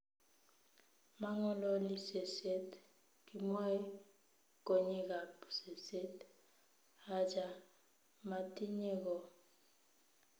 Mangololi seset, kinwae konyekab seset,"achaa, matinye goo,"